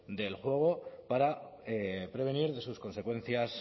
del juego para prevenir de sus consecuencias